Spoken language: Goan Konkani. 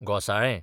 घोंसाळें